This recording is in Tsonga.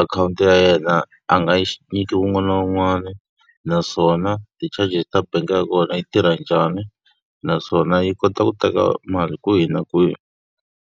akhawunti ya yena a nga yi nyiki wun'wana na wun'wana, naswona ti-charges ta bangi ya kona yi tirha njhani. Naswona yi kota ku teka mali kwihi na kwihi.